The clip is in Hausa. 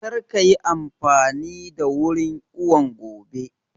Kar ka yi amfani da wurin iwon gobe!